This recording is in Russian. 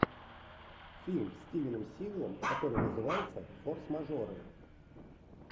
фильм с стивеном сигалом который называется форс мажоры